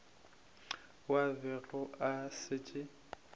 ao a bego a šetše